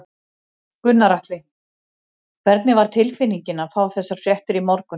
Gunnar Atli: Hvernig var tilfinningin að fá þessar fréttir í morgun?